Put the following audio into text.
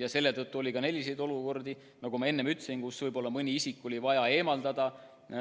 Ja selle tõttu oli ka selliseid olukordi, kus mõni isik oli vaja eemaldada